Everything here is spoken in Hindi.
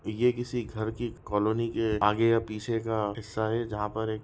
ये किसी घर की कालोनी के आगे या पीछे का हिस्सा है जहाँ पर एक --